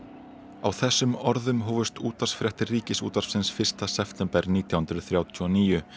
á þessum orðum hófust útvarpsfréttir Ríkisútvarpsins fyrsta september nítján hundruð þrjátíu og níu